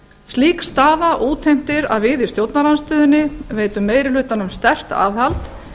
slík staða útheimtir að við í stjórnarandstöðunni veitum meiri hlutanum sterkt aðhald